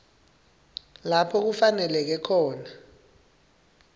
lapho kufaneleke khona